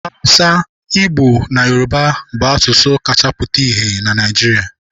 Awụsa, Igbo na Yoruba bụ asụsụ kacha pụta ìhè na Naịjirịa.